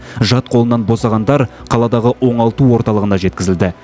жат қолынан босағандар қаладағы оңалту орталығына жеткізілді